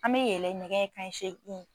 An bɛ yɛlɛ ɲɛgɛ kanɲɛ seegin.